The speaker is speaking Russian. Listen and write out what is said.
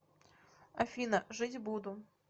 афина жить буду